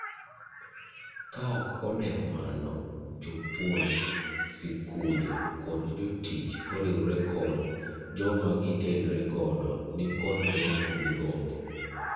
Kaok odewo mano, jopuonj, sikunde, kod jotuich koriwre kod jomagitenre godo nikod duoko migombo.